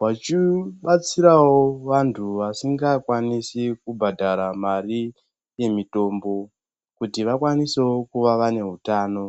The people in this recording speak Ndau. vachibatsirawo vanthu vasingakwanisi kubhadhara mari yemitombo kuti vakwanisewo kuva vane utano.